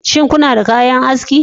Shin kuna da bayan aski